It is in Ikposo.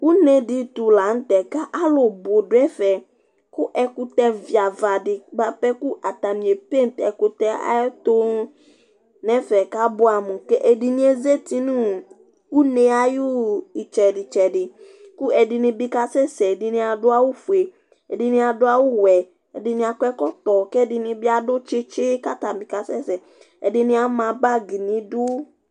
Unedi tʋ la n'te ka alʋ bʋ dʋ ɛfɛ kʋ ɛkʋtɛ viavadi buapɛ k'atani a paint ɛkʋtɛ ayʋ ɛtʋ n'ɛfɛ k'abuɛ amʋ kɛ ɛdini azati nʋ une yɛ ayʋ itsɛdi itsɛdi Kʋ ɛdini bi kasɛsɛ, ɛdini adʋ awʋ fue, ɛdini adʋ awʋ wɛ, ɛdini akɔ ɛkɔtɔ, k'ɛdini bi adʋ tsitsi k'atani bi kasɛsɛ, ɛdini ama bag n'idu